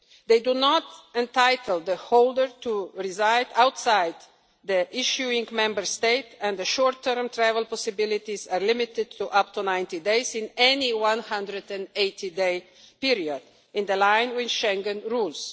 They do not entitle the holder to reside outside the issuing Member State, and the short term travel possibilities are limited to up to 90 days in any 180 day period, in line with Schengen rules.